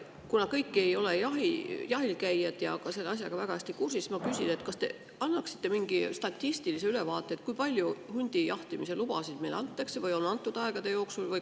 Kuna kõik ei ole jahil käijad ega selle asjaga väga hästi kursis, siis ma küsin, kas te annaksite mingi statistilise ülevaate, kui palju hundi või karu jahtimise lubasid meil antakse või on antud aegade jooksul.